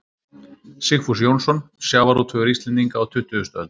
Sigfús Jónsson: Sjávarútvegur Íslendinga á tuttugustu öld.